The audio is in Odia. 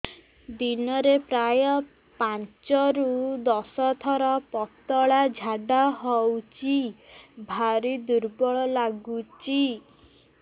ଦିନରେ ପ୍ରାୟ ପାଞ୍ଚରୁ ଦଶ ଥର ପତଳା ଝାଡା ହଉଚି ଭାରି ଦୁର୍ବଳ ଲାଗୁଚି